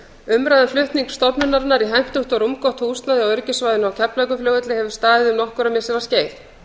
umræða um flutning stofnunarinnar í hentugt og rúmgott húsnæði á öryggissvæðinu á keflavíkurflugvelli hefur staðið um nokkurra missira skeið